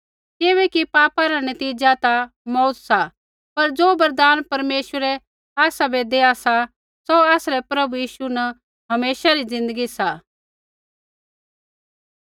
किबैकि पापा रा नतीज़ा ता मौऊत सा पर ज़ो वरदान परमेश्वर आसाबै देआ सा सौ आसरै प्रभु यीशु न हमेशा री ज़िन्दगी सा